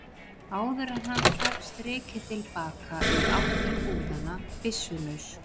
áður en hann tók strikið til baka, í átt til búðanna, byssulaus.